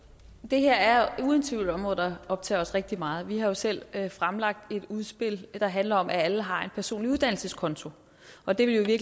det her er uden tvivl et område der optager os rigtig meget vi har jo selv fremlagt et udspil der handler om at alle har en personlig uddannelseskonto og det ville jo i